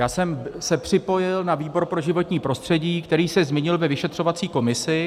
Já jsem se připojil na výbor pro životní prostředí, který se změnil ve vyšetřovací komisi.